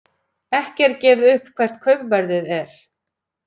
Ekki er gefið upp hvert kaupverðið er.